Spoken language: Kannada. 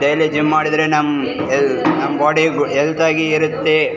ಡೈಲೀ ಜಿಮ್ಮ್ ಮಾಡಿದ್ರೆ ನಮ್ಮ್ ಹೆಲ್‌ ನಮ್ಮ ಬೋಡಿ ಹೆಲ್ತ್ ಆಗಿ ಇರುತ್ತೆ .